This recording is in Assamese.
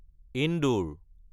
ইন্দোৰ